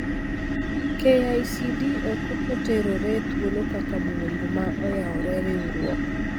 KICD ok oketore e thuolo kaka buomb ma oyawone riuruok.